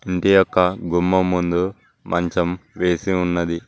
ఇంటి యొక్క గుమం ముందు మంచం వేసి ఉన్నది.